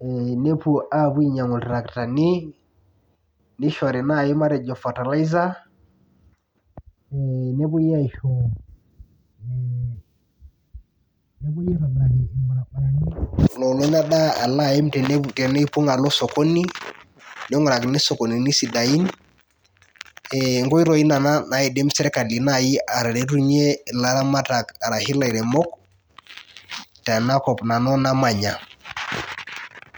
e nepuobainyangu ltarakitani nishori nai matejo fertiliser nepuoi aisho e nepuo aitobiraki rbaribarani oim nai tenepuo osokoni ningurakini sokonini sidain, ngoitoi kuna naidim serkali ataretunye laramatak enakop nanu namanya.